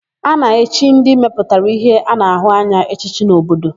A na-echi ndị mepụtara íhé a na-ahụ anya echichi n'obodo.